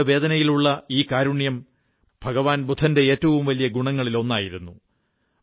ആളുകളുടെ വേദനയിലുള്ള ഈ കാരുണ്യം ഭഗവാൻ ബുദ്ധന്റെ ഏറ്റവും വലിയ ഗുണങ്ങളിലൊന്നായിരുന്നു